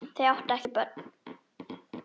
Þau áttu ekki börn.